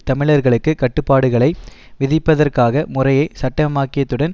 தமிழர்களுக்கு கட்டுப்பாடுகளை விதிப்பதற்காக முறையை சட்டமாக்கியதுடன்